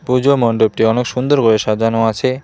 পুজা মণ্ডপটি অনেক সুন্দর ভাবে সাজানো আছে।